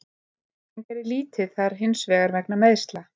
Hann gerði lítið þar hinsvegar vegna meiðsla.